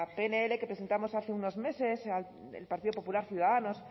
pnl que presentamos hace unos meses el partido popular ciudadanos